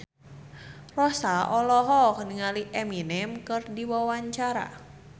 Rossa olohok ningali Eminem keur diwawancara